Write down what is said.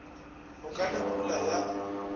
go ka na pula ya